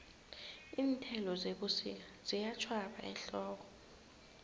iinthelo zebusika ziyatjhwaba ehlobo